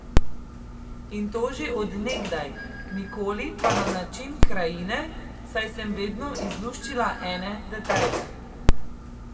In to že od nekdaj, nikoli pa na način krajine, saj sem vedno izluščila ene detajle.